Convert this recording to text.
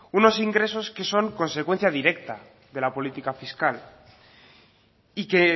unos ingresos que son consecuencia directa de la política fiscal y que